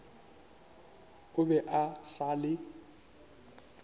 o be a sa le